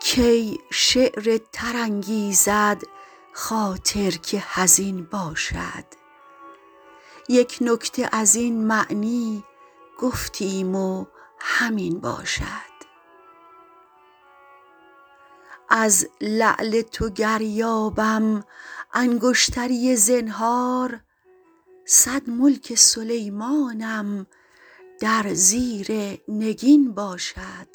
کی شعر تر انگیزد خاطر که حزین باشد یک نکته از این معنی گفتیم و همین باشد از لعل تو گر یابم انگشتری زنهار صد ملک سلیمانم در زیر نگین باشد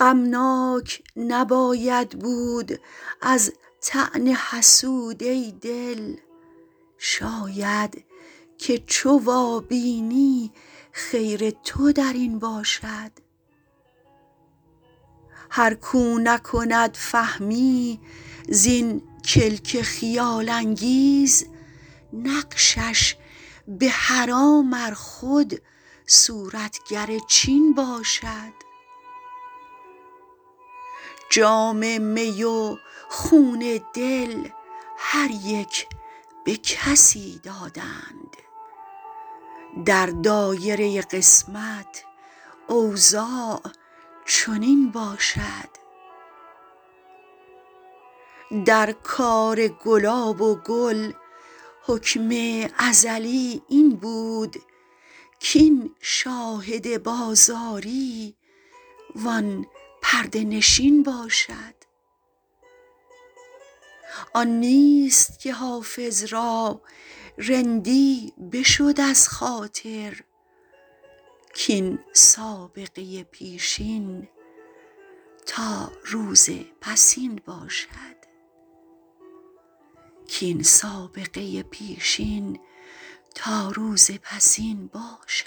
غمناک نباید بود از طعن حسود ای دل شاید که چو وابینی خیر تو در این باشد هر کاو نکند فهمی زین کلک خیال انگیز نقشش به حرام ار خود صورتگر چین باشد جام می و خون دل هر یک به کسی دادند در دایره قسمت اوضاع چنین باشد در کار گلاب و گل حکم ازلی این بود کاین شاهد بازاری وان پرده نشین باشد آن نیست که حافظ را رندی بشد از خاطر کاین سابقه پیشین تا روز پسین باشد